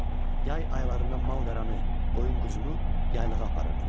Yay aylarında malqaranı, qoyun-quzunu yaylağa aparırdılar.